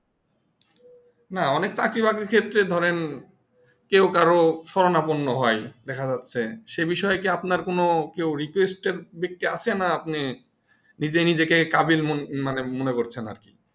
না অনেক চাকরি বাকরির ক্ষেত্রে ধরেন কেউ কারো সরণাপর্ণ হয় দেখা যাচ্ছে সেই বিষয়কি আপনার কোনো কেও request দিকে আছেন আপনি নিজেই নিজেকে কাবিল মানে মনে করছেন আরকি